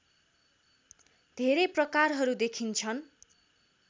धेरै प्रकारहरू देखिन्छन्